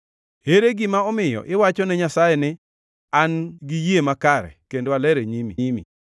Ere gima omiyo iwachone Nyasaye ni, ‘An giyie makare kendo aler e nyimi?’